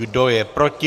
Kdo je proti?